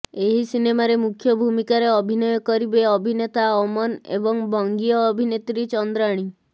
ଏହି ସିନେମାରେ ମୁଖ୍ୟ ଭୂମିକାରେ ଅଭିନୟ କରିବେ ଅଭିନେତା ଅମନ୍ ଏବଂ ବଙ୍ଗୀୟ ଅଭିନେତ୍ରୀ ଚନ୍ଦ୍ରାଣୀ